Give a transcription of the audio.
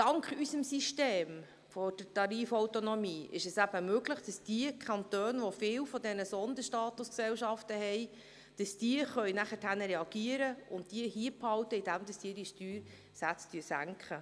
Dank unserem System der Tarifautonomie ist es möglich, dass diejenigen Kantone, die viele solcher Sonderstatusgesellschaften haben, reagieren und diese hier behalten können, indem sie ihre Steuersätze senken.